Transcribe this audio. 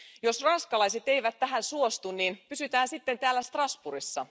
Jos ranskalaiset eivät tähän suostu, niin pysytään sitten täällä Strasbourgissa.